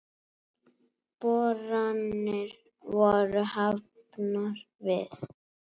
Boranir voru hafnar við